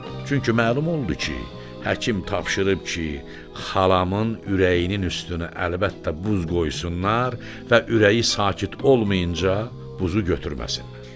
Çünki məlum oldu ki, həkim tapşırıb ki, xalamın ürəyinin üstünə əlbəttə buz qoysunlar və ürəyi sakit olmayınca buzu götürməsinlər.